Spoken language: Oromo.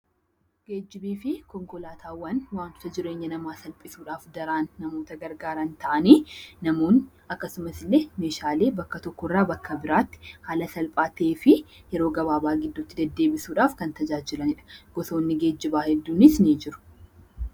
Geejjibii fi konkolaataawwan wantoota jireenya namaa salphisuudhaaf daran namoota gargaaran ta'anii, namoonni akkasumas illee meeshaalee bakka tokko irraa bakka biraatti haala salphaa ta'ee fi yeroo gabaabaa gidduutti deddeebisuudhaaf kan tajaajilani dha. Gosoonni geejjibaa hedduunis ni jiru.